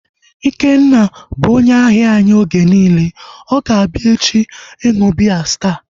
Ikenna bụ onye ahia anyị oge niile, ọ ga-abịa echi ịṅụ biya Staa